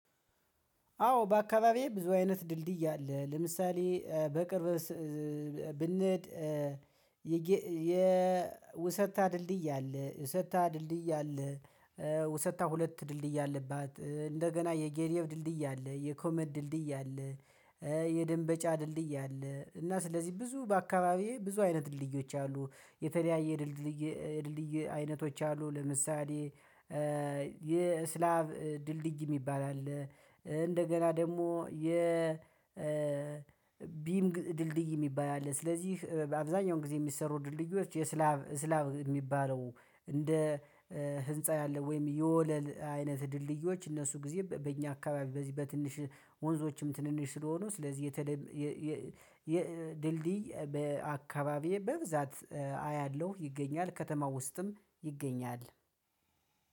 አዎ በአካባቢዬ ብዙ አይነት ድልድይ አለ። ለምሳሌ በቅርብ ብንሄድ የገ የውሰታ ድልድይ አለ የውሰታ ድልድይ አለ። ውሰታ ሁለት ድልድይ አለባት እንደገና የጌሬብ ድልድይ አለ የኮመድ ድልድይ አለ። የደንበጫ ድልድይ አለ እና ስለዚህ ብዙ በአካባቢዬ ብዙ አይነት ድልድዮች አሉ። የተለያየ ድልድይ ድልድይ አይነቶች አሉ። ለምሳሌ የእስላብ ድልድይ የሚባል አለ። እንደገና ደግሞ የ ቢም ድልድይ የሚባል አለ። ስለዚህ አብዛኛውን ጊዜ የሚሰሩ ድልድዮች የእስላብ የሚባለው እንደ ህንፃ ያለው ወይም የወለል አይነት ድልድዮች እነሱ ጊዜ በእኛ አካባቢ በዚህ በትንሽ ወንዞችም ትንንሽ ስለሆኑ ስለዚህ የተደመ የድልድይ በአካባቢዬ በብዛት አያለሁ ይገኛል። ከተማው ውስጥም ይገኛል።